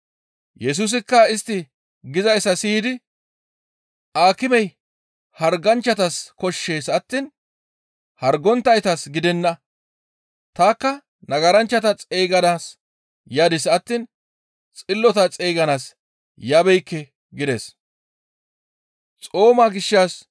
Yesusikka istti gizayssa siyidi, «Aakimey harganchchatas koshshees attiin hargonttaytas gidenna. Tanikka nagaranchchata xeyganaas yadis attiin xillota xeyganaas yabeekke» gides.